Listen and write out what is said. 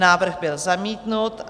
Návrh byl zamítnut.